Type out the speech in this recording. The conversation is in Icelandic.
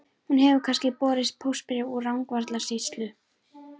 Hefur kannski borist póstbréf úr Rangárvallasýslu?